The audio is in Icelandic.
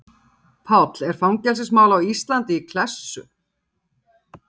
Gunnar Atli: Páll er fangelsismál á Íslandi í klessu?